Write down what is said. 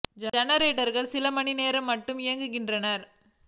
ஜென ரேட்டர்கள் சில மணி நேரங் களுக்கு மட்டுமே இயங்குகின் றன